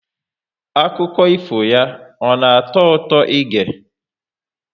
Akụkọ ifo ya ọ na atọ ụtọ ị ge?